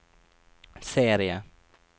serie